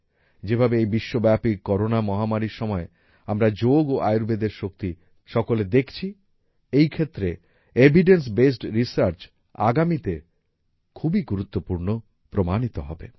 যেভাবে এই বিশ্বব্যাপী করোনা মহামারীর সময়ে আমরা যোগ ও আয়ুর্বেদের শক্তি সকলে দেখছি এই ক্ষেত্রে এভিডেন্স বেসড রিসার্চ আগামীতে খুবই গুরুত্বপূর্ণ প্রমাণিত হবে